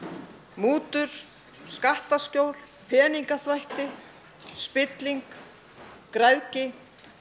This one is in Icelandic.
mútur skattaskjól peningaþvætti spilling græðgi